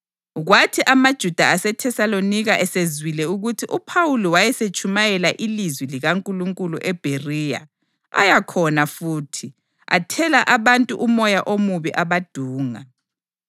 Kwathi amaJuda aseThesalonika esezwile ukuthi uPhawuli wayesetshumayela ilizwi likaNkulunkulu eBheriya, aya khona futhi, athela abantu umoya omubi abadunga.